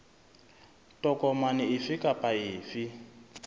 tokomane efe kapa efe e